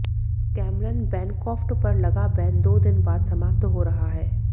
Cameron Bancroft पर लगा ban दो दिन बाद समाप्त हो रहा है